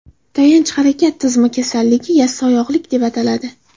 Tayanch harakat tizimining kasalligi – yassioyoqlik deb ataladi.